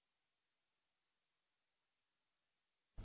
সেইকাৰণে মই এই ৰেকৰ্ডিংটো কিছু সময়ৰ বাবে স্থগিত ৰাখিম